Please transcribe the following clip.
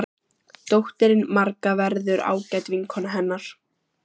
Dóttirin Marga verður ágæt vinkona hennar.